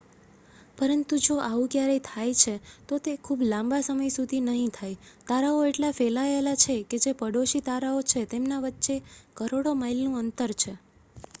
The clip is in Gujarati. "પરંતુ જો આવું ક્યારેય થાય છે તો તે ખૂબ લાંબા સમય સુધી નહીં થાય. તારાઓ એટલા ફેલાયેલા છે કે જે "પડોશી" તારાઓ છે તેમના વચ્ચે કરોડો માઇલનું અંતર છે.